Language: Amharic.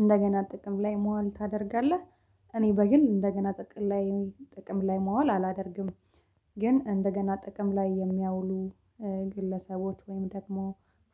እንደገና ጥቅም ላይ መዋል ታደርጋለህ? እኔ በግል እንደገና ጥቅም ላይ ጥቅም ላይ መዋል አላደርግም። ግን እንደገና ጥቅም ላይ የሚያውሉ ግለሰቦች ወይም ደግሞ